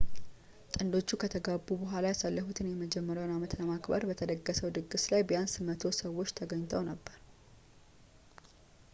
ጥንዶቹ ከተጋቡ በኋላ ያሳለፉትን የመጀመሪያውን አመት ለማክበር በተደገሰው ድግስ ላይ ቢያንስ 100 ሰዎች ተገኝተው ነበር